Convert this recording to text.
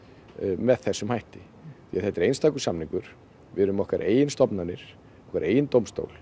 með þessum hætti þetta er einstakur samningur við erum með okkar eigin stofnanir okkar eigin dómstól